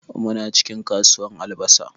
Muna cikin kasuwan albasa.